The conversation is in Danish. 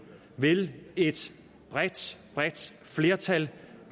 vil et bredt bredt flertal